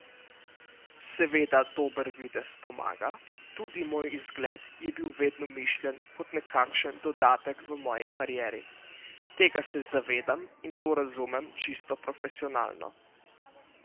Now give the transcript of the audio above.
Seveda dober videz pomaga, tudi moj izgled je bil vedno mišljen kot nekakšen dodatek v moji karieri, tega se zavedam in to razumem čisto profesionalno.